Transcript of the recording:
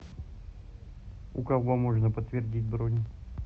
у кого можно подтвердить бронь